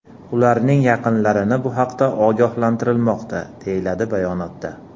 Ularning yaqinlarini bu haqda ogohlantirilmoqda”, deyiladi bayonotda.